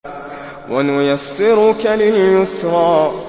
وَنُيَسِّرُكَ لِلْيُسْرَىٰ